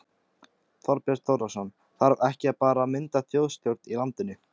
Þorbjörn Þórðarson: Þarf ekki bara að mynda þjóðstjórn í landinu?